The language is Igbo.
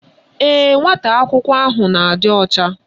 Ee, nwata akwụkwọ ahụ na-adị ọcha